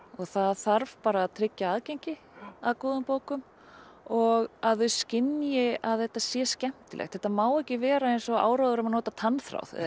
það þarf bara að tryggja aðgengi að góðum bókum og að þau skynji að þetta sé skemmtilegt þetta má ekki vera eins og áróður um að nota tannþráð